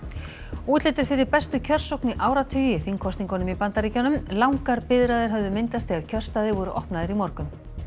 útlit er fyrir bestu kjörsókn í áratugi í þingkosningunum í Bandaríkjunum langar biðraðir höfðu myndast þegar kjörstaðir voru opnaðir í morgun